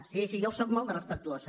sí sí jo ho sóc molt de respectuós